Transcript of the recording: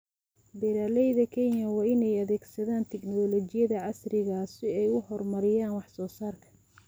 Beeralayda Kenya waa inay adeegsadaan tignoolajiyada casriga ah si ay u horumariyaan wax soo saarka.